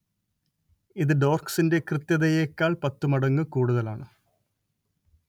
ഇത് ടോർക്സിന്റെ കൃത്യതയേക്കാൾ പത്തു മടങ്ങ് കൂടുതലാണ്